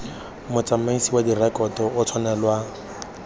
motsamaisi wa direkoto o tshwanelwa